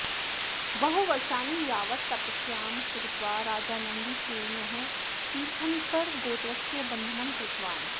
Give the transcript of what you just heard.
बहुवर्षाणि यावत् तपस्यां कृत्वा राजा नन्दीसेनः तीर्थङ्करगोत्रस्य बन्धनं कृतवान्